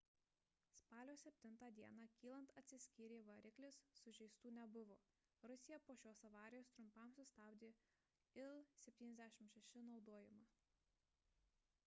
spalio 7 d kylant atsiskyrė variklis sužeistų nebuvo rusija po šios avarijos trumpam sustabdė il-76 naudojimą